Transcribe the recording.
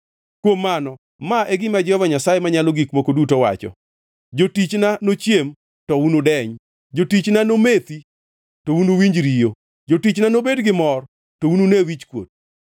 Kuom mano ma e gima Jehova Nyasaye Manyalo Gik Moko Duto wacho: “Jotichna nochiem, to unudeny; jotichna nomethi, to unuwinj riyo; jotichna nobed gimor, to unune wichkuot.